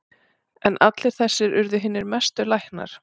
En allir þessir urðu hinir mestu læknar.